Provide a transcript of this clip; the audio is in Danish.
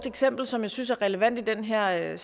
eksempel som jeg synes er relevant i den her